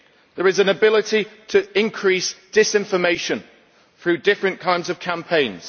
There is an ability to increase disinformation through different kinds of campaigns.